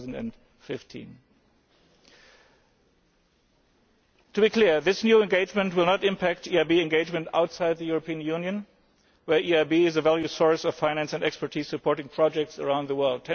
early 2015. To be clear this new engagement will not impact EIB engagement outside the European Union, where the EIB is a valued source of finance and expertise, supporting projects around the